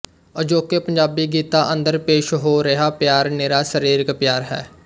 ਅਜੋਕੇ ਪੰਜਾਬੀ ਗੀਤਾਂ ਅੰਦਰ ਪੇਸ਼ ਹੋ ਰਿਹਾ ਪਿਆਰ ਨਿਰਾ ਸਰੀਰਕ ਪਿਆਰ ਹੈ